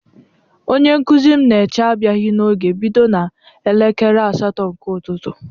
Onye nkụzi m na eche abịaghị n'oge bido na elekere asatọ nke ụtụtụ